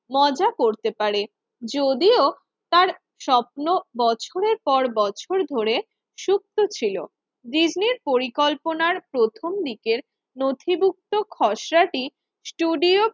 মজা করতে পারে। যদিও তার স্বপ্ন বছরের পর বছর ধরে সুপ্ত ছিল ডিজনির পরিকল্পনার প্রথম দিকের নথিভুক্ত খসড়াটি স্টুডিও